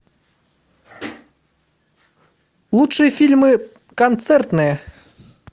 лучшие фильмы концертные